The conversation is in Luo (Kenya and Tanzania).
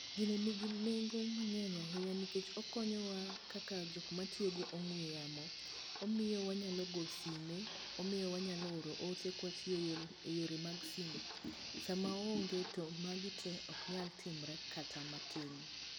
Gini nigi nengo mang'eny ahinya nikech okonyowa kaka jok matiyo gi ong'we yamo, omiyo wanyalo go sime, omiyo wanyalo oro ote kwatiyo eyore mag simu. Sama oonge to magi tee ok nyal timre kata matin.